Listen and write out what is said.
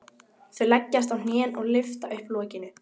Þau leggjast á hnén og lyfta upp lokinu.